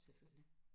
selvfølgelig